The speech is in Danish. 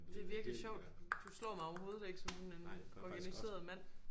Det er virkelig sjovt du slår mig overhovedet ikke som sådan en organiseret mand